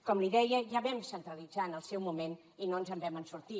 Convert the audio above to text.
com li deia ja ho vam centralitzar en el seu moment i no ens en vam sortir